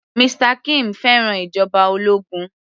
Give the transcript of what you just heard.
Mr kim fẹ́ràn ìjọba ológun